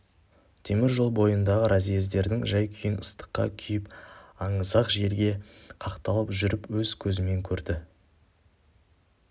темір жол бойындағы разъездердің жай-күйін ыстыққа күйіп аңызақ желге қақталып жүріп өз көзімен көрді